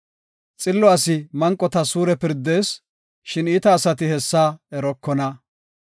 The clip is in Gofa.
Xillo asi manqotas suure pirdees; shin iita asati hessa erokona.